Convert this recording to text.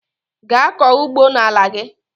Gaa kọọ ugbo n'ala gị!